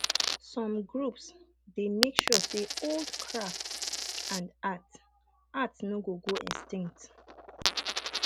some groups dey make sure say old craft and art art no go go extinct